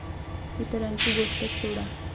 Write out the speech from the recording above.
इतरांची गोष्टच सोडा.